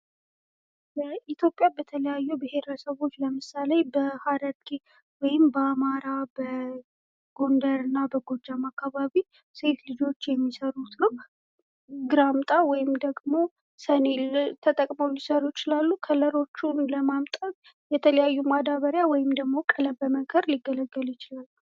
በኢትዮጵያ በተለያዩ ብሔረሰቦች ለምሳሌ በሐረርጌ ወይም በአማራ በጎንደር እና በጎጃም አካባቢ ሴት ልጆች የሚሰሩት ነዉ። ግራምጣ ወይም ደግም ሰሌን ተጠቅመዉ ሊሰሩ ይችላሉ። የተለያየ ቀለም ለማምጣት ቀለም በመንከር ወይም ማዳበሪያ በመጠቀም ሊሰሩ ይችላሉ።